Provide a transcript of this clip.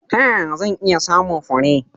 Ta yaya zan iya samun fure?